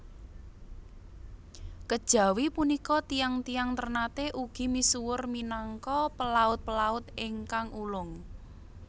Kejawi punika tiyang tiyang Ternate ugi misuwur minangka pelaut pelaut ingkang ulung